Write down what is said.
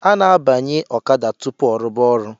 A na-abanye ọkada tupu ọrụba ọrụ